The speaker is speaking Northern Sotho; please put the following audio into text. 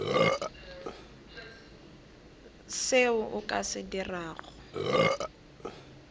seo o ka se dirago